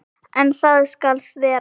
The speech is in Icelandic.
En það skal þvera.